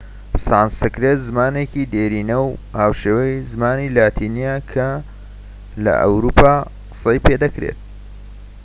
سانسکرێت زمانێکی دێرینە و هاوشێوەی زمانی لاتینیە کە لە ئەوروپا قسەی پێدەکرێت